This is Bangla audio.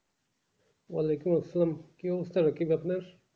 ওয়ালাইকুম আসসালাম কি কি আপনার?